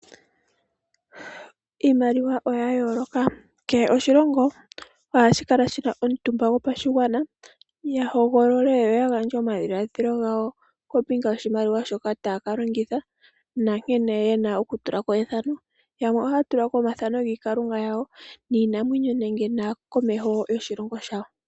Iimaliwa oya yooloka. Kehe oshilongo ohashi kala shina omuntumba gopashigwana, ya hogolole yo yagandje omadhiladhilo gawo kombinga yoshimaliwa shoka taya ka longitha, nankene ye na okutula ko ethano. Yamwe ohaya tulako omathano giikalunga yawo, niinamwenyo nenge aakomeho yoshilongo shawo.